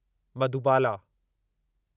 Madhubala